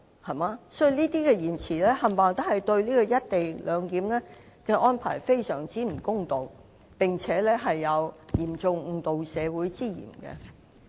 所以他們的言詞對"一地兩檢"的安排非常不公道，並有嚴重誤導社會之嫌。